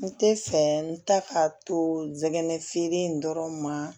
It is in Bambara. N tɛ fɛ n ta ka to ngɛnɛfeere in dɔrɔn ma